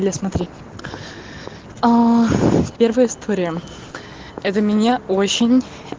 бля смотри первая история это меня очень